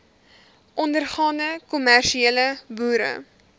ondergaande kommersiële boere